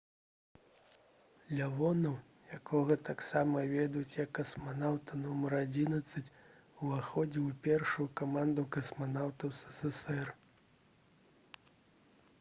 лявонаў якога таксама ведюць як «касманаўта нумар 11» уваходзіў у першую каманду касманаўтаў ссср